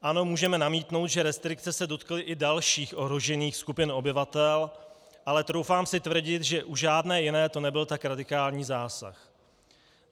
Ano, můžeme namítnout, že restrikce se dotkly i dalších ohrožených skupin obyvatel, ale troufám si tvrdit, že u žádné jiné to nebyl tak radikální zásah.